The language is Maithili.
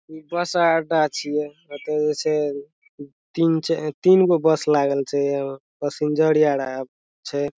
इ बस अड़ा छिए एते से तीन छै तीनगो बस लागल छै पैसेंजर आ रहल छै।